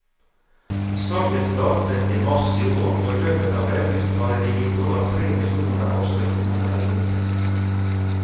Salget startet i mars i år, og i løpet av august hadde det gitt over tre millioner norske kroner i inntekt.